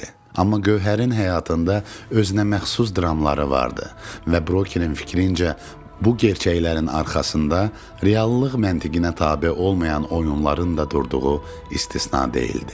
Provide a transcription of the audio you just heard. Amma Gövhərin həyatında özünəməxsus dramları vardı və brokerin fikrincə, bu gerçəklərin arxasında reallıq məntiqinə tabe olmayan oyunların da durduğu istisna deyildi.